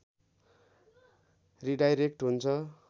redirect हुन्छ